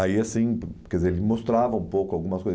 Aí assim, quer dizer, ele mostrava um pouco algumas coisas.